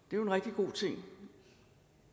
jo en rigtig god ting